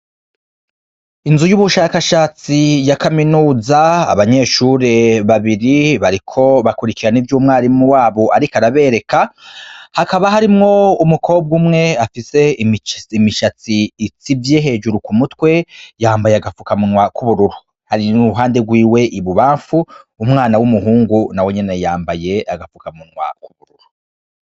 Inzu y'ubushakashatsi ya kamenuza , abanyeshure babiri bariko bakurikirana ivyo umwarimu wabo ariko arabereka, hakaba harimwo umukobwa umwe afise imishatsi itsivye hejuru ku mutwe yambaye agafukamunwa k'ubururu, hari n'uwuri iruhande rwiwe I bubamfu umwana w'umuhungu nawe nyene yambaye agafukamunwa.